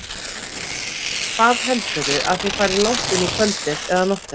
Heimir: Hvað heldurðu að þið farið langt inn í kvöldið eða nóttina?